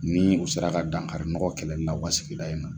Ni u sera ka dankari nɔgɔ kɛlɛli la u ka sigida in na.